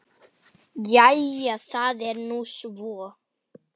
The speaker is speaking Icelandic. Jæja það er nú svo.